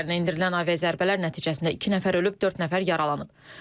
Qum şəhərinə endirilən aviazərbələr nəticəsində iki nəfər ölüb, dörd nəfər yaralanıb.